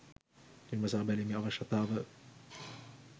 විමසා බැලීමේ අවශ්‍යතාව